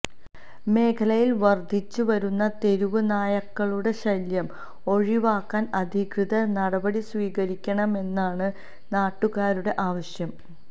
മേഖലയില് വര്ദ്ധിച്ച് വരുന്ന തെരുവ് നായക്കളുടെ ശല്യം ഒഴിവാക്കാന് അധികൃതര് നടപടി സ്വീകരിക്കണമെന്നാണ് നാട്ടുകാരുടെ ആവശ്യം